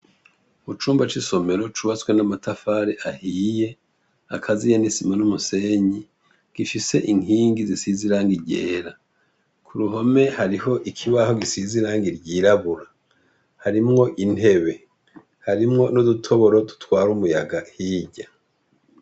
Mucumba c' isomero cubatswe n' amatafari ahiye akaziyen' isima n’umusenyi, gifise inkingi zisize irangi ryera, kuruhome hariho ikibaho gisize irangi ryirabura, harimwo intebe, harimwo n' udutoboro dutwara umuyaga hirya.